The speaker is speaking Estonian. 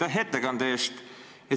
Aitäh ettekande eest!